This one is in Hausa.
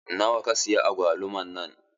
Nawa ka siya agwaluman nan?